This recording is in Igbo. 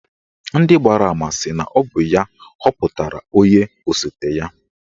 Ndị gbara ama sị na ọ bụ ya họpụtara onye osote ya.